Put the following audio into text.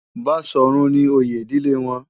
Baṣọ̀run ni oyè ìdílé wọn.